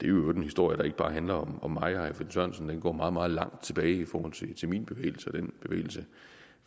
øvrigt en historie der ikke bare handler om mig og herre finn sørensen den går meget meget langt tilbage i forhold til min bevægelse og den bevægelse